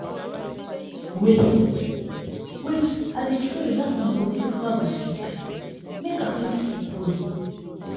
wait— wait i dey try relax my body before i go sleep make i fit sleep well.